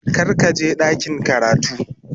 Kar ka je ɗakin karatu.